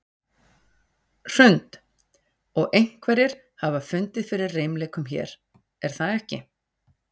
Hrund: Og einhverjir hafa fundið fyrir reimleikum hér, er það ekki?